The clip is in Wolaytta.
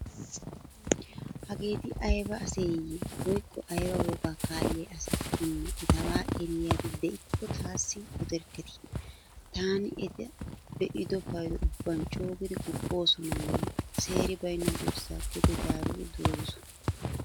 Hageeti ayba aseyye woykko ayba wogaa kaalliya asakkonne etabaa eriyaabi de'ikko taassi oderkketi. Taani eta be'ido paydo ubban coogidi guppoosonanne seeri baynna durssaa gede zaaridi duroosona.